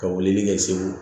Ka wulili kɛ segu